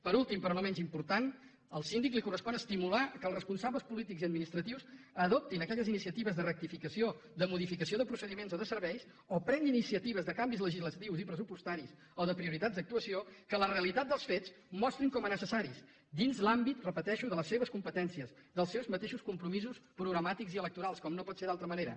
per últim però no menys important al síndic li correspon estimular que els responsables polítics i administratius adoptin aquelles iniciatives de rectificació de modificació de procediments o de serveis o prenguin iniciatives de canvis legislatius i pressupostaris o de prioritats d’actuació que la realitat dels fets mostrin com a necessaris dins l’àmbit ho repeteixo de les seves competències dels seus mateixos compromisos programàtics i electorals com no pot ser d’altra manera